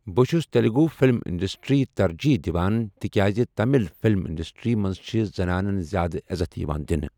بہٕ چھُس تیلگو فلم انڈسٹریہِ ترجیح دِوان تِکیٛازِ تمل فِلم انڈسٹریہِ منٛز چھِ زنانَن زِیٛادٕ عزت یِوان دِنہٕ۔